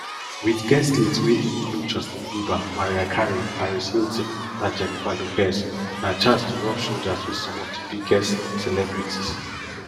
wit guest lists wey include justin bieber mariah carey paris hilton and jennifer lopez na chance to rub shoulders wit some of di biggest celebrities